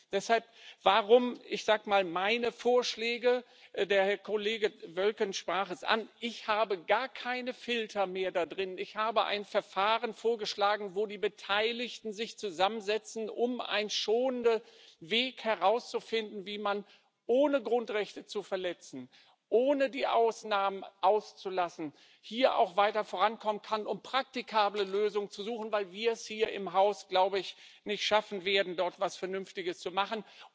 Deshalb enthalten meine Vorschläge der Kollege Wölken sprach es an gar keine Filter mehr. Ich habe ein Verfahren vorgeschlagen, in dem die Beteiligten sich zusammensetzen, um einen schonenden Weg zu finden, wie man, ohne Grundrechte zu verletzen, ohne die Ausnahmen auszulassen, hier auch weiter vorankommen kann, um praktikable Lösungen zu suchen, weil wir es hier im Haus, glaube ich, nicht schaffen werden, dort etwas Vernünftiges zu machen.